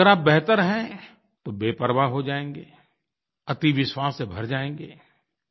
अगर आप बेहतर हैं तो बेपरवाह हो जाएँगे अति विश्वास से भर जाएँगे